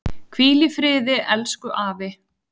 Hvíl í friði elsku afi.